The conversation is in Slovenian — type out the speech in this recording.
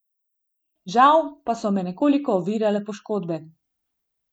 Žal pa so me nekoliko ovirale poškodbe.